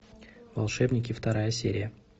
волшебники вторая серия